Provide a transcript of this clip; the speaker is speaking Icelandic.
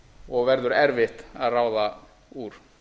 og verður erfitt að ráða úr